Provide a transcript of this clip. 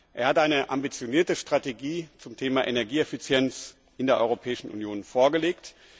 Er hat eine ambitionierte Strategie zum Thema Energieeffizienz in der Europäischen Union vorgelegt.